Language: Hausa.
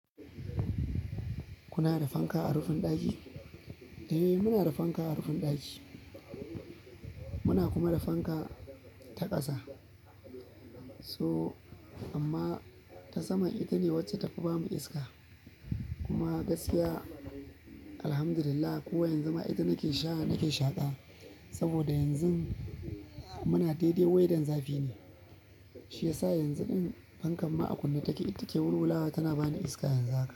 Kuna da fanka a rufin ɗaki? Eh, muna da fanka a rufin ɗaki. Muna kuma da fanka ta ƙasa. So amma ta saman ita ne wacce ta fi bamu iska. Kuma gaskiya, Alhamdulillah, ko yanzu ma ita nake shaa-- nake shaƙa. Saboda yanzun muna daidai weather zafi ne, shi yasa yanzu ɗin fankan ma a kunne take, ita ke wurwula tana bani iska yanzu haka.